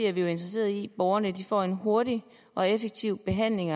er vi jo interesseret i at borgerne får en hurtig og effektiv behandling